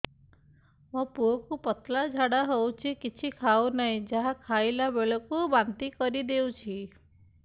ମୋ ପୁଅ କୁ ପତଳା ଝାଡ଼ା ହେଉଛି କିଛି ଖାଉ ନାହିଁ ଯାହା ଖାଇଲାବେଳକୁ ବାନ୍ତି କରି ଦେଉଛି